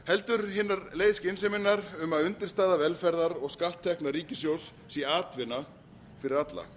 heldur leið skynseminnar um að undirstaða velferðar og skatttekna ríkissjóðs sé atvinna fyrir alla